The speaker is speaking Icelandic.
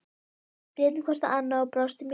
Við litum hvort á annað og brostum í laumi.